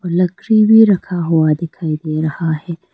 लकड़ी भी रखा हुआ दिखाई दे रहा है।